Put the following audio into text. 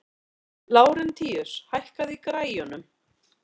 Lárentíus, hækkaðu í græjunum.